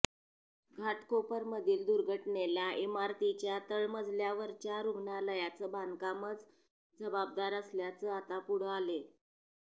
घाटकोपरमधील दुर्घटनेला इमारतीच्या तळमजल्यावरच्या रुग्णालयाचं बांधकामच जबाबदार असल्याचं आता पुढं आलेय